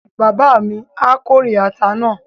Bàbá mi á kórè ata náà